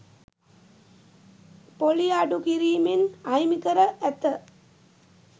පොලිය අඩු කිරීමෙන් අහිමි කර ඇත